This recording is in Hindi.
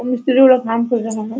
वो मिस्त्री लोग काम कर रहे हैं ।